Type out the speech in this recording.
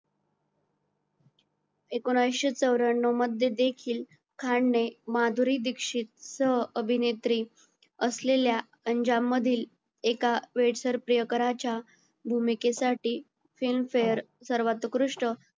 एकिणीशे चौर्‍याण्ण्व मध्ये देखील खान ने माधुरी दीक्षित सह अभिनेत्री असलेल्या अंजाम मधील एका वेड सर प्रियकराच्या भूमिकेसाठी filmfare सर्वात उत्कृष्ट